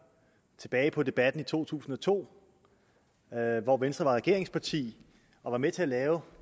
tilbage på debatten i to tusind og to hvor venstre var regeringsparti og var med til at lave